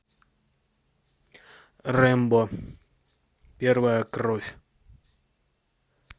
рэмбо первая кровь